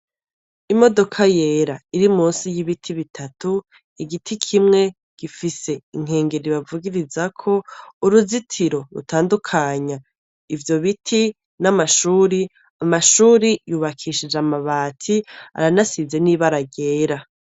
Imodoka yera iri munsi y'ibiti bitatu, igiti kimwe gifise inkengeri bavugirizako, uruzitiro rutandukanya ivyo biti n'amashure. Amashure yubakishije amabati, aranasize n'ibara ryera.